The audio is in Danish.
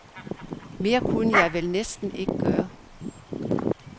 Mere kunne jeg vel næsten ikke gøre.